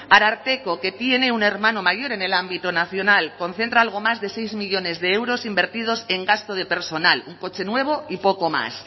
ararteko que tiene un hermano mayor en el ámbito nacional concentra algo más de seis millónes de euros invertidos en gasto de personal un coche nuevo y poco más